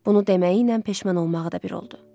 Bunu deməyi ilə peşman olmağı da bir oldu.